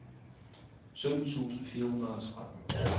sytten tusind fire hundrede og tretten